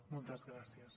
moltes gràcies